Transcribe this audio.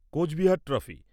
Cooch Behar trophy